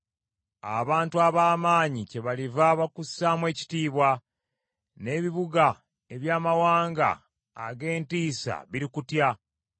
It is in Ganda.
Abantu ab’amaanyi kyebaliva bakussaamu ekitiibwa n’ebibuga eby’amawanga ag’entiisa birikutya.